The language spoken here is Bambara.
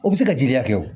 O bɛ se ka jiri hakɛ kɛ o